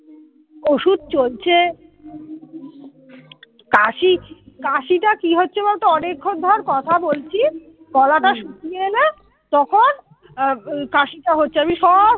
ওষুধ চলছে কাশি কাশিটা কি হচ্ছে বলতো অনেকক্ষণ ধর কথা বলছি গলাটা হম শুকিয়ে এলে তখন কাশিটা হচ্ছে আমি সব